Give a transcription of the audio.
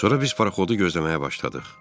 Sonra biz paraxodu gözləməyə başladıq.